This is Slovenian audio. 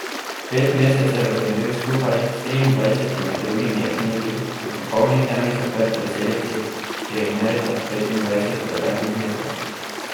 Pet mesecev je bil skupaj s triindvajsetimi drugimi jetniki v popolni temi zaprt v celici, ki je merila petindvajset kvadratnih metrov.